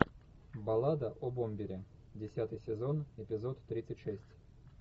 баллада о бомбере десятый сезон эпизод тридцать шесть